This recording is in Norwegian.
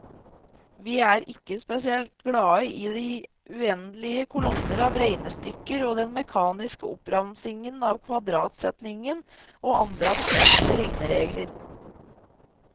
Vi er ikke spesielt glade i de uendelige kolonner av regnestykker og den mekaniske oppramsing av kvadratsetningen og andre abstrakte regneregler.